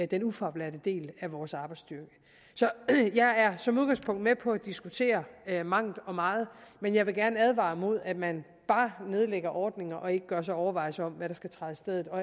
den ufaglærte del af vores arbejdsstyrke så jeg er som udgangspunkt med på at diskutere mangt og meget men jeg vil gerne advare mod at man bare nedlægger ordninger og ikke gør sig overvejelser om hvad der skal træde i stedet og